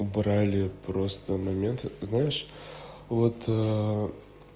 убрали просто момент знаешь вот